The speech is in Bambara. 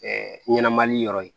ɲɛnɛmali yɔrɔ ye